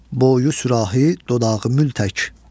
boyu sürahi, dodağı mül tək.